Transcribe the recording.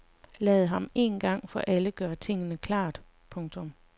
Lad ham en gang for alle gøre tingene klart. punktum